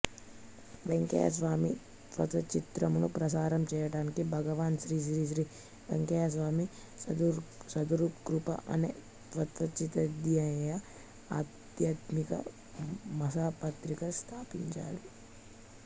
వెంకయ్య స్వామి తత్వచింతనను ప్రసారం చేయటానికి భగవావ్ శ్రీశ్రీశ్రీ వెంకయ్యస్వామి సద్గురుకృప అనే తత్వచింతనాధ్యేయ ఆధ్యాత్మిక మాసపత్రిక స్థాపించబడింది